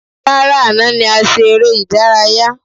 Rárá, àná ni a ṣe eré ìdárayá.